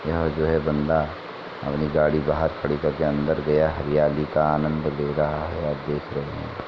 यहाँ जो है बंदा अपनी गाड़ी बाहर खड़ी कर के अंदर गया हरयाली का आनंद ले रहा है आप देख रहे हैं |